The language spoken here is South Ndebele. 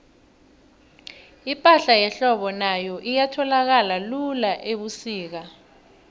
ipahla yehlobo nayo ayitholakali lula ubusika